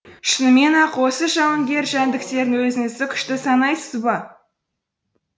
шынымен ақ осы жауынгер жәндіктерден өзіңізді күшті санайсыз ба